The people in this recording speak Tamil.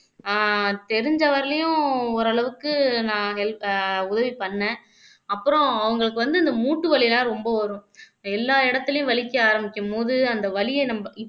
அஹ் தெரிஞ்ச வரையிலும் ஓரளவுக்கு நான் ஹெல் உதவி பண்ணேன் அப்புறம் அவங்களுக்கு வந்து இந்த மூட்டு வலி எல்லாம் ரொம்ப வரும் எல்லா இடத்துலயும் வலிக்க ஆரம்பிக்கும்போது அந்த வலியை நம்ம